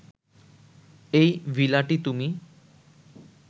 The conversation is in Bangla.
এই ভিলাটি তুমি